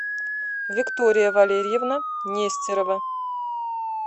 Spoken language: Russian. виктория валерьевна нестерова